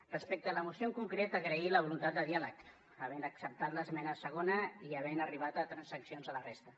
respecte a la moció en concret agrair la voluntat de diàleg haver acceptat l’esmena segona i haver arribat a transaccions a la resta